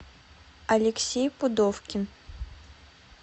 алексей пудовкин